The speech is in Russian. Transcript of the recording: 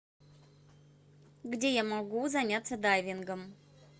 где я могу заняться дайвингом